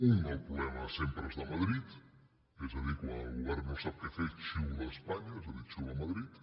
un el problema sempre és de madrid és a dir quan el govern no sap què fer xiula espanya és a dir xiula madrid